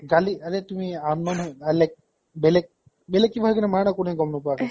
গালি আৰে তুমি unknown আই like বেলেগ বেলেগ কিবা হৈ কিনা মাৰা না, কোনেও গম নোপোৱাকে